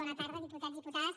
bona tarda diputats diputades